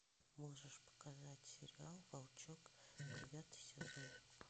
можешь показать сериал волчок девятый сезон